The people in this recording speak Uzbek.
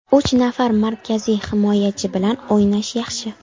Uch nafar markaziy himoyachi bilan o‘ynash yaxshi.